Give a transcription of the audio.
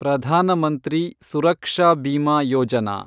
Pradhan Mantri Suraksha Bima Yojana